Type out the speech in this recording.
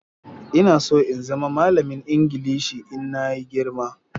Ina so in zama malamin Ingilishi Ina yi girma.